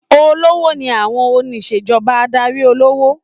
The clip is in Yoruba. Olówó ni àwọn onisejọba adarí olówó.